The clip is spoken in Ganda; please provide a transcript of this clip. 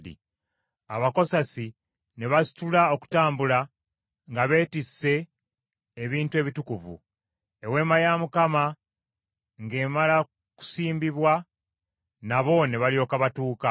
Abakokasi ne basitula okutambula nga beetisse ebintu ebitukuvu. Eweema ya Mukama ng’emala kusimbibwa, nabo ne balyoka batuuka.